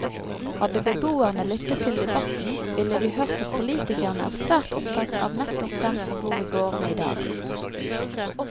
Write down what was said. Hadde beboerne lyttet til debatten, ville de hørt at politikerne er svært opptatt av nettopp dem som bor i gårdene i dag.